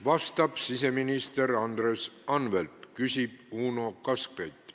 Vastab siseminister Andres Anvelt, küsib Uno Kaskpeit.